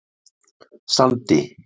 Sandi